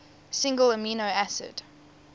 single amino acid